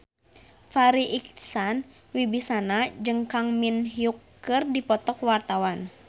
Farri Icksan Wibisana jeung Kang Min Hyuk keur dipoto ku wartawan